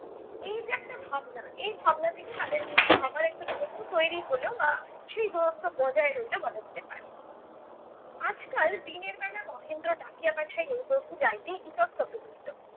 এই যে একটা ভাবনা এই ভাবনা থেকেই তাদের মধ্যে আবার একটা দূরত্ব তৈরী হলো বা সেই দূরত্ব বজায় রইল বলা যেতে পারে। আজকাল দিনের বেলা মহেন্দ্র ডাকিয়া পাঠাইলে বধূ যাইতে ইতস্তত করিত।